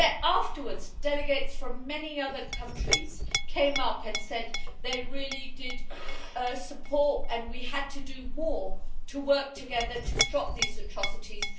Afterwards, delegates from many other countries came up and said they really did support this and that we had to do more to work together to stop these atrocities.